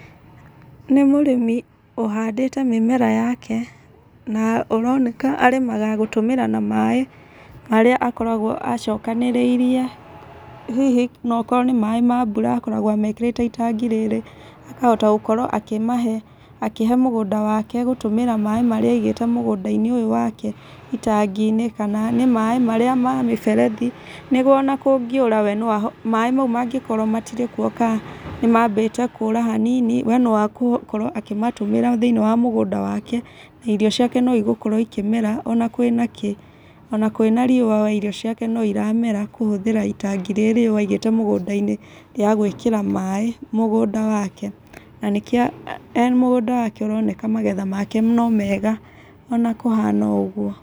Nĩ mũrĩmi ũhandĩte mĩmera yake, na ũroneka arĩmaga gũtũmĩra na maĩ marĩa akoragwo acokanĩrĩirie. Hihi no okorwo nĩ maĩ ma mbura akoretwo amekĩrĩte itangi rĩrĩ, akahota gũkorwo akĩmahe akĩhe mũgũnda wake gũtũmĩra maĩ marĩa aigĩte mũgũnda-inĩ ũyũ wake itangi-inĩ. Kana nĩ maĩ marĩa ma mĩberethi. Nĩguo ona kũngĩũra we no ahote maĩ mau mangĩkorwo matirĩ kuo ka nĩ mambĩte kũra hanini, we no agũkorwo akĩmatũmĩra thĩiniĩ wa mũgũnda wake, na irio ciake no igũkorwo ikĩmera ona kwĩ na kĩ. Ona kwĩna riũa we irio ciake no iramera kũhũthĩra itangi rĩrĩ aigĩte mũgũ nda-inĩ rĩa gwĩkĩra maĩ mũgũnda wake. Na nĩkĩo ee mũgũnda wake ũroneka magetha make no mega ona kũhana ũũ o ũguo.